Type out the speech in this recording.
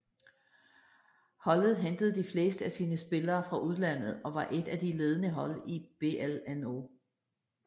Holdet hentede de fleste af sine spillere fra udlandet og var et af de ledende hold i BLNO